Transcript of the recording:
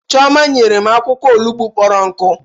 Chioma nyere m akwụkwọ olugbu kpọrọ nkụ